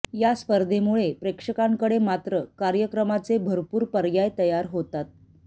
या स्पर्धेमुळे प्रेक्षकांकडे मात्र कार्यक्रमांचे भरपूर पर्याय तयार होतात